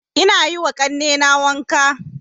Ina yiwa ƙannena wanka